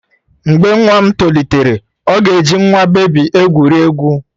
Mgbe nwa m tolitere, ọ ga-eji nwa bebi egwuri egwu.